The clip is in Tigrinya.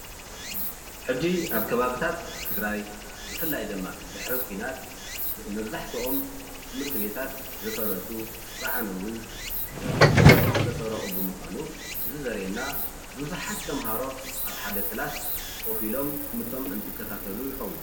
ሕዚ ኣብ ከባቢታት ትግራት ብፍላይ ድማ ድሕሪ ኩናት መብዛሕትኦም ትምህርቲቤታት ዝፈረሱ፣ ዝዓነዉ፣ ንብረቶም ዝተሰረቀ ብምኳኑ እዚ ዘርእየና ቡዙሓት ተማሃሮ ኣብ ሓደ ክላስ ኮፍ ኢሎም ትምህርቶም እንትከታተሉ ይከውን፡፡